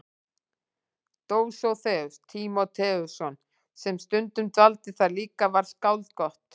Dósóþeus Tímóteusson sem stundum dvaldi þar líka var skáld gott.